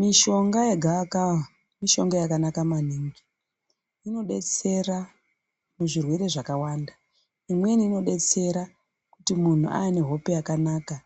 Mishonga yegava kava mishonga yakanaka maningi. Inodetsera muzvirwere zvakawanda. Imweni inodetsera kuti muntu ave nehope yakanaka.